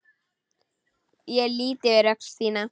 Ég lýt yfir öxl þína.